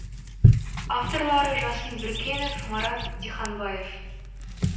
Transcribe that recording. авторлары жасын біркенов марат диханбаев